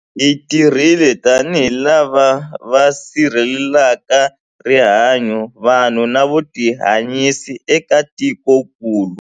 Hi tirhile tanihi lava va sirhelelaka rihanyu, vanhu na vutihanyisi eka tikokulu.